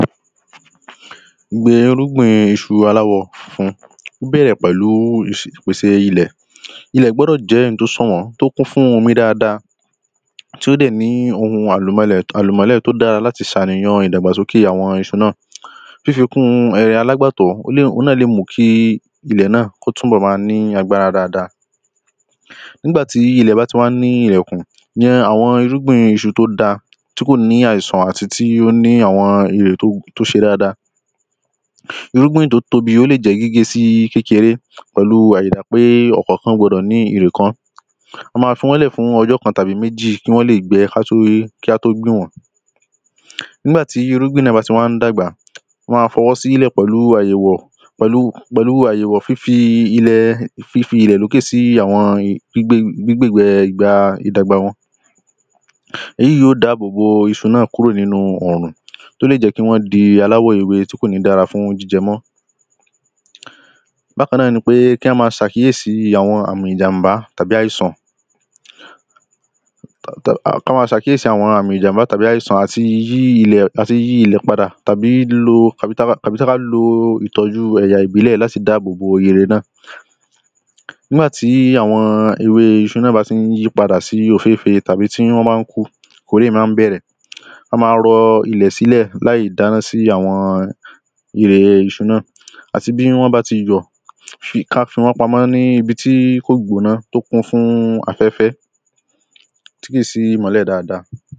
irúgbìn iṣu aláwọ̀ funfun ó bẹ̀rẹ̀ pẹ̀lu ìpèsè ilẹ̀ ilẹ̀ gbọ́dọ̀ jẹ́ oun tí ó sànwọ́n, tí ó kún fún omi dáadáa tí ó dẹ̀ ní ohun àlùmọ́lẹ̀ tó dára láti ṣànìyan ìdàgbàsókè àwọn iṣu náà fífikún alágbàtọ́ ohun náà lè mú kí ilẹ̀ náà kó túnbọ̀ máa ní agbára dáaadáa nígbàtí ilẹ̀ bá ti wà ní iyẹ̀kún, ní àwọn irúgbìn iṣu tí ó dáa tí kò ní àìsàn àti tí ó ní àwọn irè tó ṣe dada irúgbìn tí ó tóbi, ó lè jẹ́ gígé sí kékeré pẹ̀lu àyídà pé ọkọ̀ kan gbọdọ̀ ní irè kan. A máa fi wọ́n lẹ̀ fún ọjọ́ kan tàbí méjì kí wọn lè gbẹ kí á tó gbìn wọ́n ní ìgbàtí irúgbìn náà ba ti wá dàgbà, wọ́n máa fọwọ́ sílẹ̀ pẹ̀lú àyẹ̀wò, fífi ilẹ̀ lókè sí àwọn gbígb́e ìgbà ìdàgba wọn èyí yóò dáàbò bo iṣu náà kúrò nínu òrùn, tí ó lè jẹ́ kí wọ́n di aláwọ̀ ewé tí kò ní dára fún jíjẹ mọ́ bákan náà ni pé kí á máa ṣe àkíyèsi àwọn àmi ìjàm̀bá tàbí àìsàn àti yíyí ilẹ̀ padà tàbí tí a bá lo ìtọ́jú ẹ̀yà ìbílẹ̀ láti dáàbò bo irè náà Nígbàtí àwọn ewé iṣu náà bá ti yípadà sí òféfèé tàbí tí wọ́n bá ku, ìkórè máa bẹ̀rẹ̀ a máa rọ ilẹ̀ sí ilẹ̀ láì dáná sí àwọn ere iṣu náà àti bí wọ́n bá ti yọ̀, kí á fi wọ́n pamọ́ ní ibi tí kò gbóná, tó kún fún afẹ́fẹ́ tí ó sì mólẹ̀ dáadáa